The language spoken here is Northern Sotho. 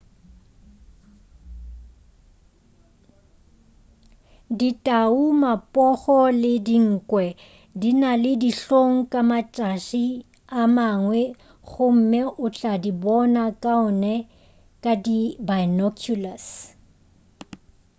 ditau mapogo le dinkwe di na le dihlong ka matšatši a mangwe gomme o tla di bona kaone ka di binoculars